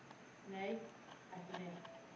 Nei, ekki neitt.